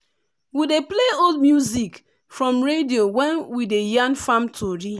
we dey play old music from radio when we dey yarn farm tori.